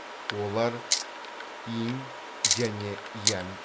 олар инь және янь